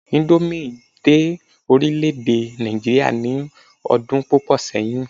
indomie dé orilẹ ede Naijiria ni odun púpò sẹyìn